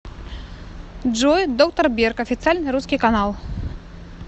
джой доктор берг официальный русский канал